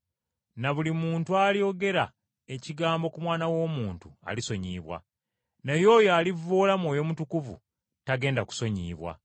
Na buli muntu alyogera ekigambo ku Mwana w’Omuntu alisonyiyibwa, naye oyo alivvoola Mwoyo Mutukuvu tagenda kusonyiyibwa.